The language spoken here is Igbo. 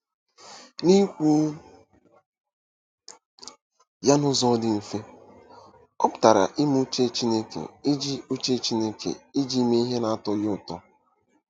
N’ikwu ya n’ụzọ dị mfe, ọ pụtara ime uche Chineke iji uche Chineke iji mee ihe na-atọ ya ụtọ.